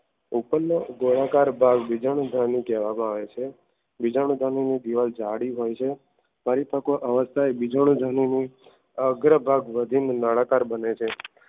ઉપરના ગોળાકાર ભાગ બીજાણુ ધણી કહેવામાં આવે છે. બીજાણુ ધણીની દીવાલ જાડી હોય છે પરિપકો બીજાણો ધણુ અગ્ર ભાગ વધીને નાના આકાર બને છે